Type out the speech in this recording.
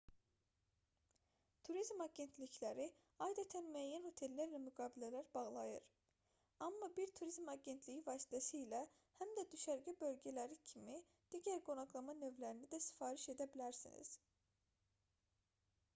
turizm agentlikləri adətən müəyyən otellərlə müqavilələr bağlayır amma bir turizm agentliyi vasitəsilə həm də düşərgə bölgələri kimi digər qonaqlama növlərini də sifariş edə bilərsiniz